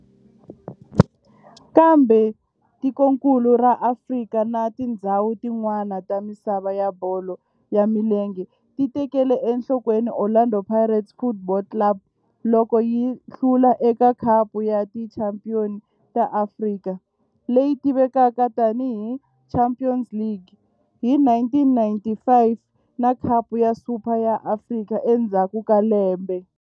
Kambe tikonkulu ra Afrika na tindzhawu tin'wana ta misava ya bolo ya milenge ti tekele enhlokweni Orlando Pirates Football Club loko yi hlula eka Khapu ya Tichampion ta Afrika, leyi tivekaka tani hi Champions League, hi 1995 na Khapu ya Super ya Afrika endzhaku ka lembe.